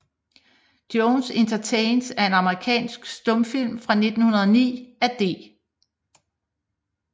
Jones Entertains er en amerikansk stumfilm fra 1909 af D